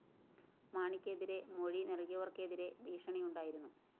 മാണിക്കെതിരെ മൊഴി നല്‍കിയവര്‍ക്കെതിരെ ഭീഷണി ഉണ്ടായിരുന്നു